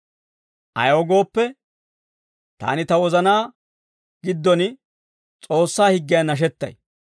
Ayaw gooppe, taani ta wozanaa giddon S'oossaa higgiyan nashettay;